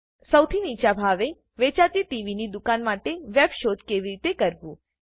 સૌથી નીચા ભાવે વેચાતી ટીવીની દુકાન માટે વેબ શોધ કેવી રીતે કરવું